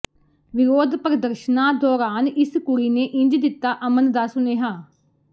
ਵਿਰੋਧ ਪ੍ਰਦਰਸ਼ਨਾਂ ਦੌਰਾਨ ਇਸ ਕੁੜੀ ਨੇ ਇੰਝ ਦਿੱਤਾ ਅਮਨ ਦਾ ਸੁਨੇਹਾ